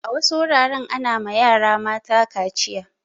A wasu wuraren ana ma yara mata kaciya.